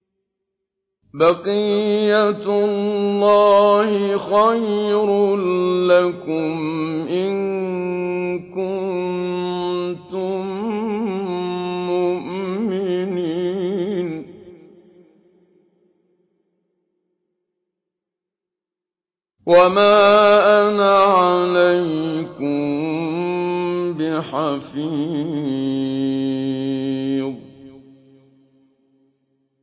بَقِيَّتُ اللَّهِ خَيْرٌ لَّكُمْ إِن كُنتُم مُّؤْمِنِينَ ۚ وَمَا أَنَا عَلَيْكُم بِحَفِيظٍ